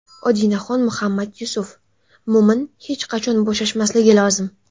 Odinaxon Muhammad Yusuf: Mo‘min hech qachon bo‘shashmasligi lozim.